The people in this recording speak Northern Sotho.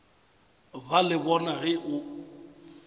ba le bona ge o